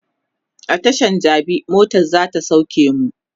a Tashan jabi motan zata sauke mu